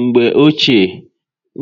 Mgbe ochie,